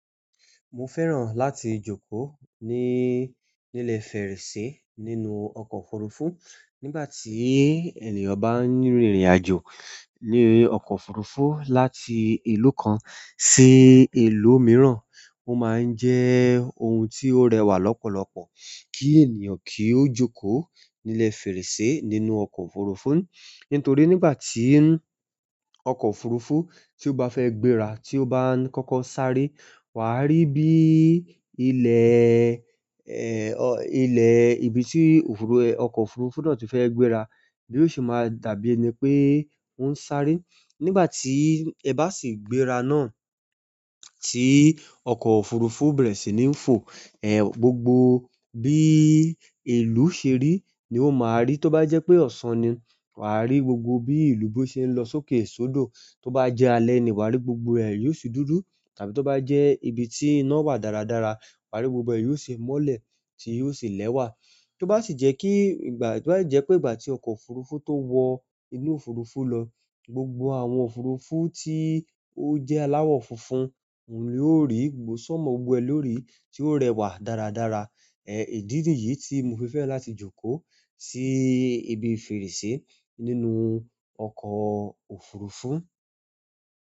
Mo fẹ́ràn láti jókòó ní, ní ilẹ̀ fèrèsé nínú ọkọ̀ òfurufú. Nígbà tí ènìyàn bá ń rìnrìn àjò ní ọkọ̀ òfurufú láti ìlú kan sí ìlú mìíràn, ó máa ń jẹ́ ohun tí ó rẹwà lọ́pọ̀lọpọ̀ kí ènìyàn kí ó jókòó ní ilẹ̀ fèrèsé nínú ọkọ̀ òfurufú. Nítorí nígbà tí ọkọ̀ òfurufú tí ó bá fẹ́ gbéra tí ó bá ń kọ́kọ́ sáré, wà á rí bí ilẹ̀, eh, ilẹ̀ ibi tí òfurufú, ọkọ̀ òfurufú náà tí fẹ́ gbéra bí ó ṣe máa dàbí ẹni pé ń sáré. Nígbà ti e ba si gbéra na ti oko òfurufú bere si ni n fo e gbogbo bi ìlú seri ni o ma ri. Tó bá jẹ́ pé ọ̀sán ni, wà á rí gbogbo bí ìlú bí ó ṣe ń lọ sókè sódò. Tó bá jẹ́ alẹ́ ni, wà á rí gbogbo ẹ̀ yóò sì dúdù. Tàbí tó bá jẹ́ ibi tí ìná wà dáradára, wà á rí gbogbo ẹ̀ yóò ṣe mọ́lẹ̀ tí yóò sì lẹ́wà. Tó bá sì jẹ́ kí ìgbà, tó bá jẹ́ pé ìgbà tí ọkọ̀ òfurufú tó wọ inú òfurufú lọ, gbogbo àwọn òfurufú tí ó jẹ́ aláwọ̀ funfun, òun lè ó rí gbogbo sọ́mọ gbogbo e lórí tí ó rẹwà dáradára. Eh, ìdí nìyí tí mo fi fẹ́ láti jókòó sí ibi fèrèsé nínú ọkọ̀ òfurufú.